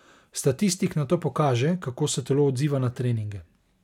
Statistik nato pokaže, kako se telo odziva na treninge.